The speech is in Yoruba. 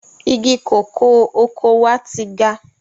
Igi kòkó oko wa ti ga.